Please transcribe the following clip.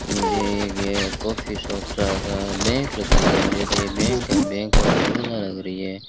मुझे ये एक ये कॉफी शॉप सा बैंक लग रही है मुझे तो ये बैंक है बैंक ऑफ़ बड़ौदा लग रही है।